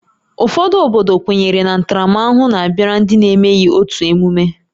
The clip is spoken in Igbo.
Ụfọdụ obodo kwenyere na ntaramahụhụ na-abịara ndị na-emeghị otu emume